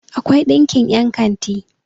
akwai ɗinkin yankanti